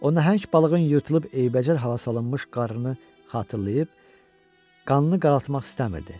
O nəhəng balığın yırtılıb eybəcər hala salınmış qarnını xatırlayıb, qanını qaraltmaq istəmirdi.